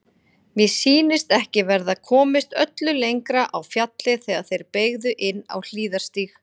Mér sýndist ekki verða komist öllu lengra á fjallið þegar þeir beygðu inn á hliðarstíg.